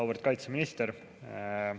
Auväärt kaitseminister!